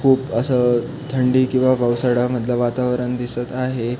खूप अस थंडी किवा पावसाड्या मधल वातावरण दिसत आहे.